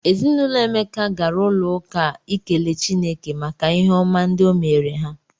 Ezi na ụlọ Emeka gara ụlọụka ikele Chineke maka ihe ọma ndị o meere ha.